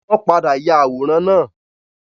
Wọ́n padà ya àwòrán náà.